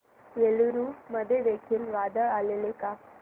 एलुरू मध्ये देखील वादळ आलेले का